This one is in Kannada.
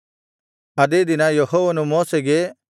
ಆದೇ ದಿನ ಯೆಹೋವನು ಮೋಶೆಗೆ